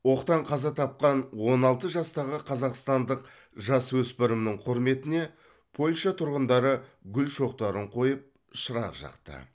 оқтан қаза тапқан он алты жастағы қазақстандық жасөспірімнің құрметіне польша тұрғындары гүл шоқтарын қойып шырақ жақты